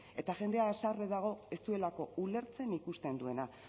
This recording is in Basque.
eta jendea haserre dago ez duelako ulertzen ikusten duena